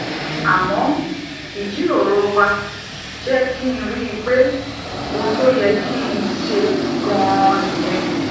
àmó ìjíròrò wa jé kí n rí i pé ohun tó yẹ kí n ṣe ganan nìyẹn